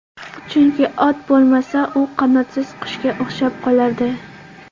Chunki, ot bo‘lmasa, u qanotsiz qushga o‘xshab qolardi.